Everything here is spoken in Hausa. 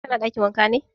Ka na ɗakin waƙa ne?